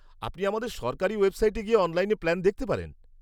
আপনি আমাদের সরকারি ওয়েবসাইটে গিয়ে অনলাইনে প্ল্যান দেখতে পারেন।